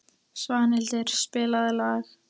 Svanhildur, spilaðu lag.